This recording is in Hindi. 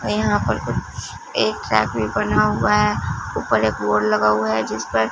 और यहां पर कुछ एक रैक भी बना हुआ है ऊपर एक बोर्ड लगा हुआ है जिस पर--